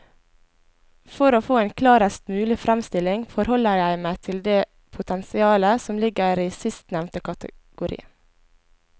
For å få en klarest mulig fremstilling forholder jeg meg til det potensialet som ligger i sistnevnte kategori.